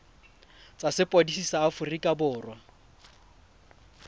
tsa sepodisi sa aforika borwa